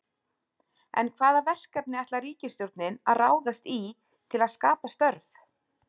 En hvaða verkefni ætlar ríkisstjórnin að ráðast í til að skapa störf?